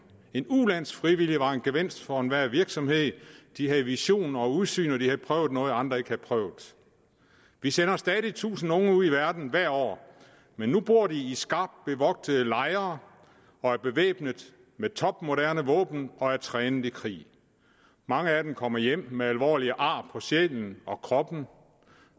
en ulandsfrivillig var en gevinst for enhver virksomhed de havde visioner og udsyn og de havde prøvet noget som andre ikke havde prøvet vi sender stadig tusinder af unge ud i verden hvert år men nu bor de i skarpt bevogtede lejre og er bevæbnet med topmoderne våben og er trænet i krig mange af dem kommer hjem med alvorlige ar på sjælen og på kroppen og